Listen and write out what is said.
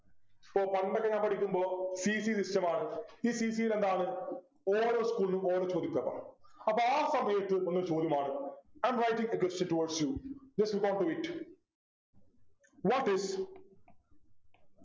so പണ്ടൊക്കെ ഞാൻ പഠിക്കുമ്പോ PC system മാണ് ഈ PC യിൽ എന്താണ് ഓരോ school ലും ഓരോ ചോദ്യ paper ആ അപ്പൊ ആ സമയത് ഒന്ന് ചോദ്യം മാറു i am writing a question towards you just you want to wait what is